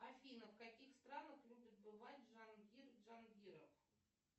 афина в каких странах любит бывать джангир джангиров